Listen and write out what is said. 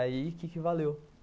Aí, o que valeu?